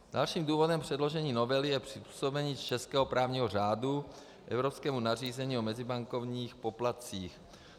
Dalším důvodem předložení novely je přizpůsobení českého právního řádu evropskému nařízení o mezibankovních poplatcích.